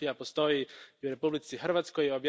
Drvna mafija postoji i u Republici Hrvatskoj.